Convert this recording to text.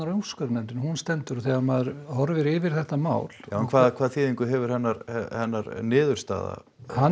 á úrskurðarnefndinni hún stendur þegar maður horfir yfir þetta mál hvaða þýðingu hefur hennar hennar niðurstaða